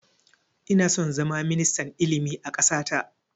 Ina son zama ministan ilimi a ƙasa ta